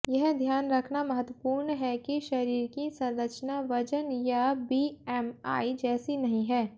यह ध्यान रखना महत्वपूर्ण है कि शरीर की संरचना वजन या बीएमआई जैसी नहीं है